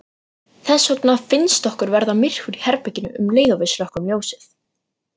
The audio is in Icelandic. Þess vegna finnst okkur verða myrkur í herberginu um leið og við slökkvum ljósið.